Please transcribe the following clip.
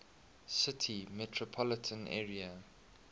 city metropolitan area